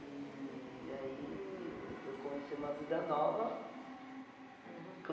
E aí eu comecei uma vida nova. Uhum.